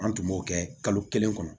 An tun b'o kɛ kalo kelen kɔnɔ